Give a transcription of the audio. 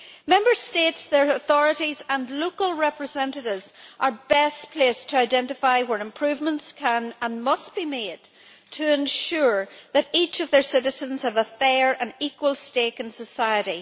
Member States, their authorities and their local representatives are best placed to identify where improvements can and must be made to ensure that each of their citizens has a fair and equal stake in society.